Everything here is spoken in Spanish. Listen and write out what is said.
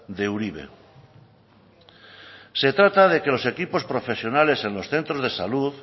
de uribe se trata de que los equipos profesionales en los centros de salud